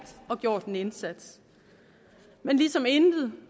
og gjort en indsat men ligesom intet